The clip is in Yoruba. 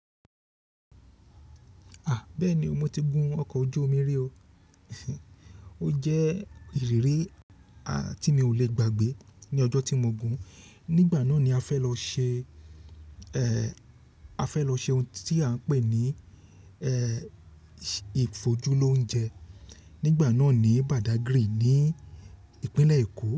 A! Bẹ́ẹ̀ni o mo ti gun ọkọ̀ ojú omi rí o. Ó jẹ́ ìrírí a tí mi ò le gbàgbé ní ọjọ́ tí mo gùn. Nígbà náà ni a fẹ́ lọ ṣe, eh, a fẹ́ lọ ṣe ohun tí à ń pè ní, eh, ìfojú lóúnjẹ nígbà náà ní Badagry ní ìpínlẹ̀ Èkó.